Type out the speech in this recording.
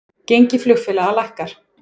Gengi flugfélaga lækkar